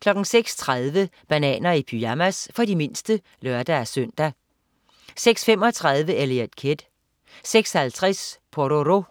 06.30 Bananer i pyjamas. For de mindste (lør-søn) 06.35 Eliot Kid 06.50 Pororo.